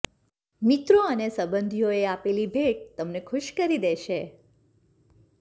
મિત્રો અને સંબંધીઓએ આપેલી ભેટ તમને ખુશ કરી દેશે